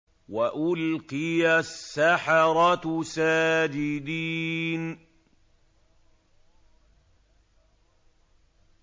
وَأُلْقِيَ السَّحَرَةُ سَاجِدِينَ